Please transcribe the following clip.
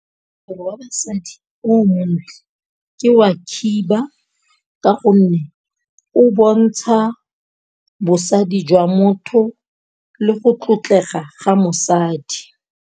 Wa basadi o montle ke wa khiba, ka gonne o bontsha bosadi jwa motho le go tlotlega ga mosadi.